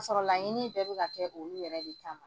Ka sɔrɔ laɲini bɛɛ bi ka kɛ olu yɛrɛ de kama.